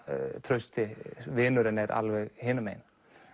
Trausti vinurinn er alveg hinum megin